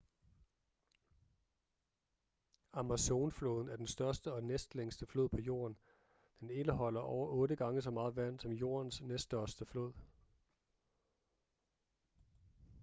amazonfloden er den største og næstlængste flod på jorden den indeholder over 8 gange så meget vand som jordens næststørste flod